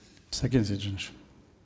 сакен сейтжанович